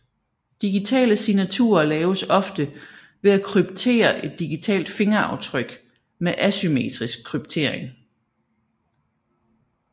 Digitale signaturer laves ofte ved at kryptere et digitalt fingeraftryk med asymmetrisk kryptering